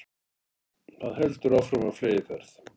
Það heldur áfram á fleygiferð